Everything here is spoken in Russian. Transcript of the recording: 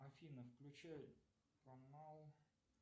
афина включи канал